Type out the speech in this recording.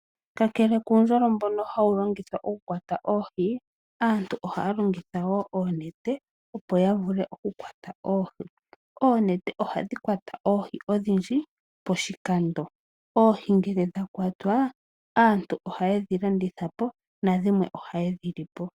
Kakele kuundjolo mbono hawulongithwa oku kwata oohii aantu oha longitha oonete opo yavule oku kwata oohii, oonete ohadhi kwata oohii odhindji poshikando, oohii ngele dha kwatwa aantu oha dhilandithwepo nadhimwe oha dhilipo.